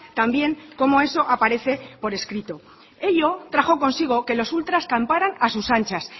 también cómo eso aparece por escrito ello trajo consigo que los ultras camparan a sus anchas